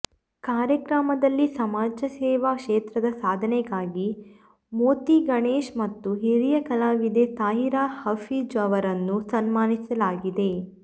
ಕಾರ್ಯಕ್ರಮದಲ್ಲಿ ಸಮಾಜಸೇವೆ ಕ್ಷೇತ್ರದ ಸಾಧನೆಗಾಗಿ ಮೋಂತಿಗಣೇಶ್ ಮತ್ತು ಹಿರಿಯ ಕಲಾವಿದೆ ತಾಹಿರ ಹಫೀಜ್ಅವರನ್ನು ಸನ್ಮಾನಿಸಲಾಯಿತು